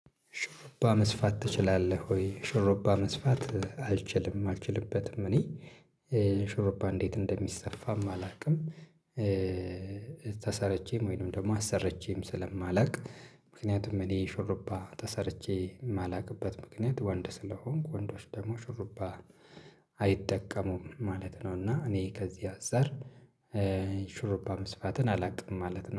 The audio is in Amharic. ሾሮባ መስፋት ትችላለህ ወይ? ሾሮባ መስፋት አልችልም አልችልበትም እኔ፤ ሾሮባ እንዴት እንደሚሰፋም አላውቅም። ተሰረቼም ወይንም ደግሞ አሰረቼም ስለማላውቅ፤ ምክንያቱም እኔ ሹርባ ተሰርቼ የማላቅበት ምክንያት ወንድ ስለሆንኩ ወንዶች ደግሞ ሹሩባ አይጠቀሙም ማለት ነው። እና እኔ ከዚህ አዛር ሹሩባ መስፋትን አላውቅም ማለት ነው።